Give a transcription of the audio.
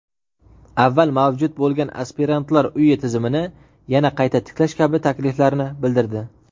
avval mavjud bo‘lgan "aspirantlar uyi" tizimini yana qayta tiklash kabi takliflarni bildirdi.